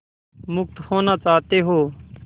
मुक्त होना चाहते हो